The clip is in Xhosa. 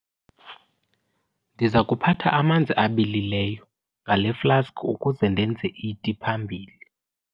Ndiza kuphatha amanzi abilileyo ngale flaski ukuze ndenze iti phambili.